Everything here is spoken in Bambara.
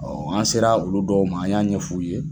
Ɔ an sera olu dɔw ma, an y'a ɲɛ f'u ye.